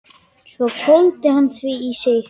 Svo hvolfdi hann því í sig.